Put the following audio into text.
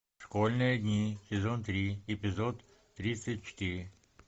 школьные дни сезон три эпизод тридцать четыре